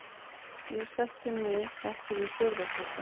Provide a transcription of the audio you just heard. Ég sætti mig ekki við fjórða sætið.